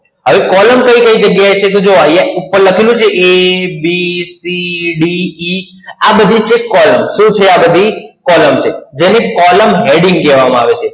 હવે column કઈ કઈ જગ્યા એ છે તો જુઓ અહિયાં ઉપર લખેલું છે A, B, C, D, E આ બધી છે column શું છે આ બધી? column છે. જેને column heading કહેવામા આવે છે.